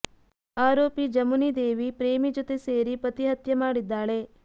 ಆರೋಪಿ ಜಮುನಿ ದೇವಿ ಪ್ರೇಮಿ ಜೊತೆ ಸೇರಿ ಪತಿ ಹತ್ಯೆ ಮಾಡಿದ್ದಾಳೆ